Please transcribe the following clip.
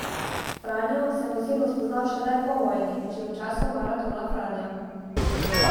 Franjo sem osebno spoznal šele po vojni, že v času maratona Franja.